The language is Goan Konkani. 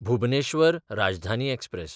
भुबनेश्वर राजधानी एक्सप्रॅस